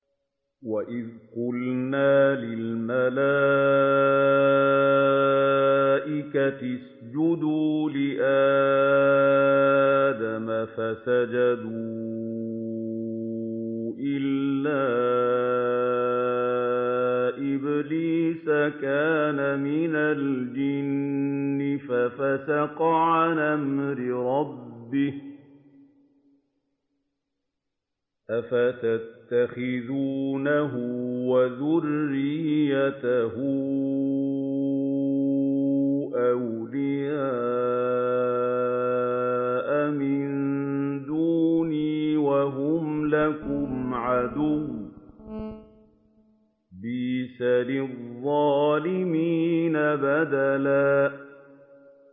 وَإِذْ قُلْنَا لِلْمَلَائِكَةِ اسْجُدُوا لِآدَمَ فَسَجَدُوا إِلَّا إِبْلِيسَ كَانَ مِنَ الْجِنِّ فَفَسَقَ عَنْ أَمْرِ رَبِّهِ ۗ أَفَتَتَّخِذُونَهُ وَذُرِّيَّتَهُ أَوْلِيَاءَ مِن دُونِي وَهُمْ لَكُمْ عَدُوٌّ ۚ بِئْسَ لِلظَّالِمِينَ بَدَلًا